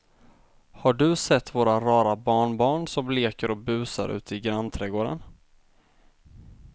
Har du sett våra rara barnbarn som leker och busar ute i grannträdgården!